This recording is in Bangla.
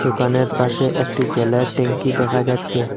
দোকানের পাশে একটি জলের ট্যাঙ্কি দেখা যাচ্ছে।